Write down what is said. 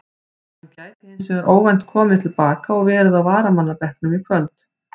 Hann gæti hins vegar óvænt komið til baka og verið á varamannabekknum í kvöld.